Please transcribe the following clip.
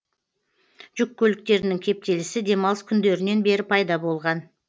жүк көліктерінің кептелісі демалыс күндерінен бері пайда болған